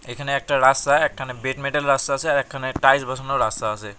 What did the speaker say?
এখানে একটা রাস্তায় একখানে বেডমেডেল রাস্তা আসে একখানে টাইলস বসানো রাস্তা আসে।